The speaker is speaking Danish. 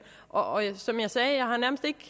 og som jeg sagde